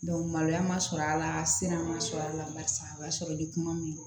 maloya ma sɔrɔ a la sira ma sɔrɔ a la barisa o y'a sɔrɔ ni kuma min